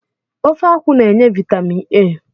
Ofe akwụ n'enye vitamin A